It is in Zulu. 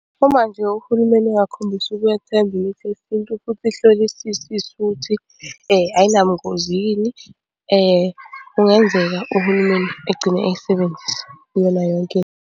Uma nje uhulumeni engakhombisa ukwethemba imithi yesintu futhi ihlolisisiswe ukuthi ayinabungozi yini, kungenzeka uhulumeni egcine eyisebenzisa kuyona yonke into.